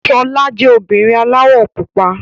Ṣọlá jẹ́ obìnrin aláwọ̀ pupa.